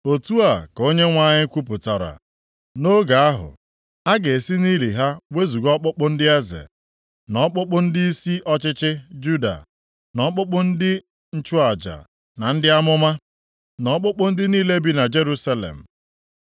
“ ‘Otu a ka Onyenwe anyị kwupụtara, nʼoge ahụ a ga-esi nʼili ha wezuga ọkpụkpụ ndị eze, na ọkpụkpụ ndịisi ọchịchị Juda, na ọkpụkpụ ndị nchụaja na ndị amụma, na ọkpụkpụ ndị niile bi na Jerusalem.